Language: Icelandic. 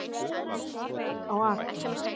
Garðar á Akranesi.